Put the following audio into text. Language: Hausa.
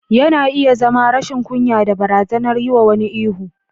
Yana iya zama rashin kunya da barazanar yi wa wani ihu.